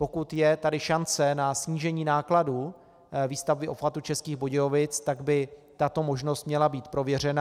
Pokud je tady šance na snížení nákladů výstavby obchvatu Českých Budějovic, tak by tato možnost měla být prověřena.